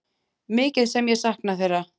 Mikið sem ég sakna þeirra.